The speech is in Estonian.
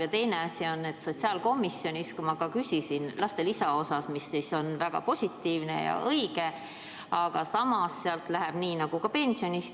Ja teine asi, sotsiaalkomisjonis ma küsisin samuti lastelisa kohta, mis on väga positiivne ja õige, aga samas sealt lähevad maksud maha nii nagu ka pensionist.